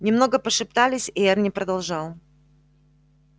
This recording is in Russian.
немного пошептались и эрни продолжал